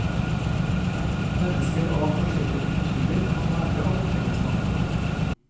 Mennesker av forskjellige kulturer kan lære av et felles mangfold.